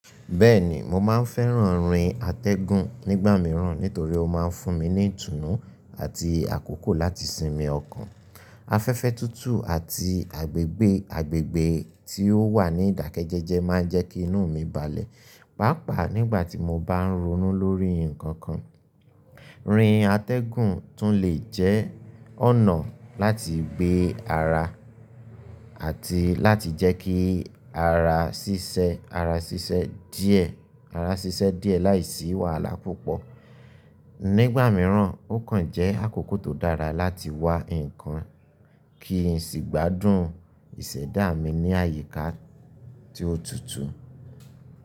Bẹ́ẹ̀ni, mo máa ń fẹ́ràn rin atẹ́gùn nígbà míràn nítorí ó máa ń fún mi ní ìtùnú àti àkókò láti sinmi ọkàn. Afẹ́fẹ́ tútù àti agbègbè agbègbè tí ó wà ní ìdákẹ́jẹ́jẹ́ máa ń jẹ́ kí inú mi balẹ̀, pàápàá nígbà tí mo bá ń ronú lórí nǹkan kan. Rin atẹ́gùn tún lè jẹ́ ọ̀nà láti gbé ara àti láti jẹ́ kí ara ṣíṣẹ, ara ṣíṣẹ́ díẹ̀, ará ṣiṣẹ́ díẹ̀ láìsí wàhálà púpọ̀. Nígbà míràn, ó kàn jẹ́ àkókò tó dára láti wá nǹkan kí n sì gbádùn ìṣẹ̀dá mi ní àyíká tí ó tutù.